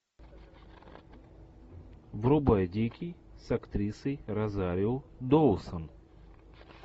врубай дикий с актрисой розарио доусон